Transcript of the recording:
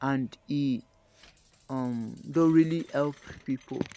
and e um don really help people